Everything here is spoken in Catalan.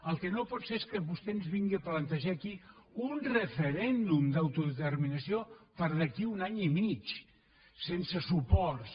el que no pot ser és que vostè ens vingui a plantejar aquí un referèndum d’autodeterminació per d’aquí a un any i mig sense suports